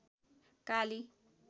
काली